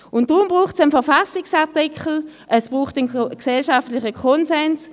Deshalb braucht es einen Verfassungsartikel, es braucht einen gesellschaftlichen Konsens.